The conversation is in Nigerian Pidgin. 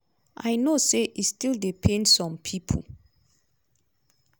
i know say e still dey pain some pipo.